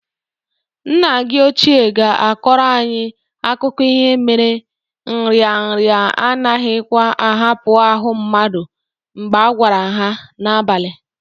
Nna gi ochie ga-akọrọ anyị akụkụ ihe mere nrịanrịa anaghikwa ahapụ ahụ mmadụ mgbe agwara ha n'abalị.